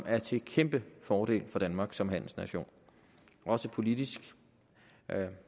er til kæmpe fordel for danmark som handelsnation og også politisk